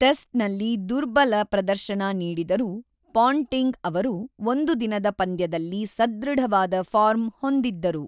Test ನಲ್ಲಿ ದುರ್ಬಲ ಪ್ರದರ್ಶನ ನೀಡಿದರೂ ಪಾಂಟಿಂಗ್ ಅವರು ಒಂದು ದಿನದ ಪಂದ್ಯದಲ್ಲಿ ಸಧೃಢವಾದ ಫಾರ್ಮ್ ಹೊಂದಿದ್ದರು.